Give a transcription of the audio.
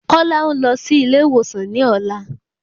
Kọ́lá ń lọ sí ilé ìwòsan ní ọ̀la.